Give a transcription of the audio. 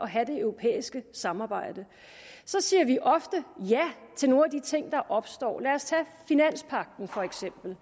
have det europæiske samarbejde så siger vi ofte ja til nogle af de ting der opstår lad os for eksempel